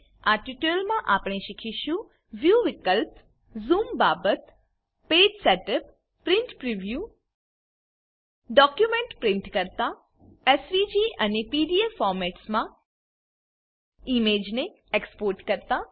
આ ટ્યુટોરીયલમાં આપણે શીખીશું વ્યૂ વિકલ્પ ઝૂમ બાબત page setup print preview document print કરતા એસવીજી અને પીડીએફ ફોરમેટસ માં ઈમેજ ને એક્સ્પોર્ટ કરતા